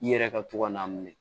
I yɛrɛ ka to ka n'a minɛ